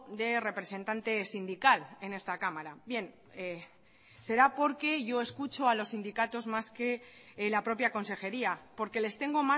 de representante sindical en esta cámara bien será porque yo escucho a los sindicatos más que la propia consejería porque les tengo